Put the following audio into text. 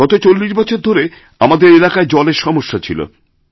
গত চল্লিশ বছর ধরে আমাদের এলাকায় জলের সমস্যা ছিল